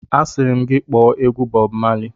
Asịrị m gị kpọọ egwu Bọb Mali!